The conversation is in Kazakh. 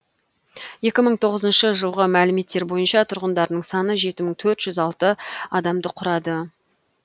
екі мың тоғызыншы жылғы мәліметтер бойынша тұрғындарының саны жеті мың төрт жүз алты адамды құрады